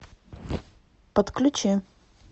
подключи